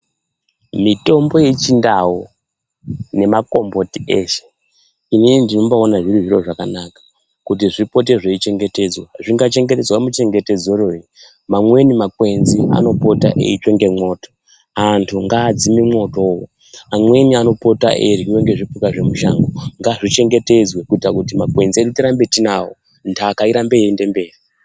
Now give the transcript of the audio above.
Mitombo yechindau nemakomboti eshe, inini ndinombaaona zviri zviro zvakanaka kuti zvipote zveichengetedzwa. Zvinga chengetedzwa muchengetedze rwoi, amweni makwenzi anopota eitsva ngemwoto. Antu ngaadzime mwoto. Amweni anopota eiryiwa ngezvipuka zvemushango, ngaa chengetedzwe kuitire kuti makwenzi edu tirambe tiinawo, nhaka irambe yeienderera mberi.